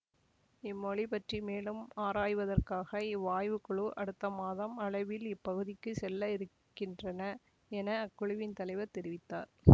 இம்மொழி பற்றி மேலும் ஆராய்வதற்காக இவ்வாய்வுக்குழு அடுத்த மாதம் அளவில் இப்பகுதிக்கு செல்லவிருக்கின்றன என அக்குழுவின் தலைவர் தெரிவித்தார்